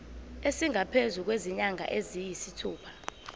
esingaphezu kwezinyanga eziyisithupha